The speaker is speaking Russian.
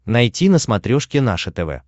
найти на смотрешке наше тв